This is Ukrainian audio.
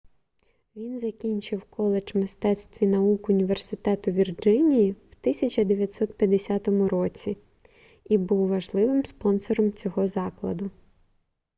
він закінчив коледж мистецтв і наук університету вірджинії в 1950 році і був важливим спонсором цього закладу